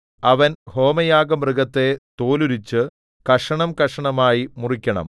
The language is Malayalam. അവൻ ഹോമയാഗമൃഗത്തെ തോലുരിച്ചു കഷണംകഷണമായി മുറിക്കണം